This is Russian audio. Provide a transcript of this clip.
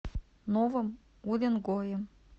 новым уренгоем